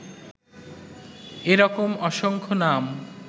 এরকম অসংখ্য নাম